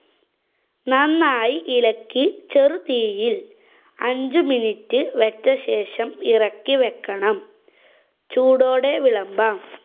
നന്നായി ഇളക്കി ചെറു തീയില്‍ അഞ്ചു minute വച്ച ശേഷം ഇറക്കി വെക്കണം. ചൂടോടെ വിളമ്പാം.